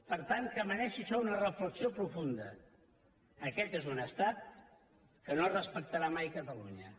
per tant que mereixi això una reflexió profunda aquest és un estat que no respectarà mai catalunya